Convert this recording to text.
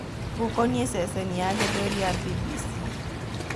Gũkoniĩ ceceni ya Gĩthweri ya Mbimbisi